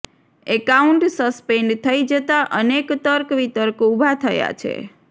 account suspend થઇ જતા અનેક તર્ક વિતર્ક ઉભા થયા છે